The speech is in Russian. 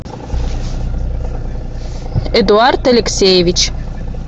эдуард алексеевич